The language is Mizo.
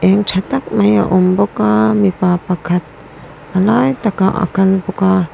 tha tak mai a awm bawka mipa pakhat a lai takah a kal bawka--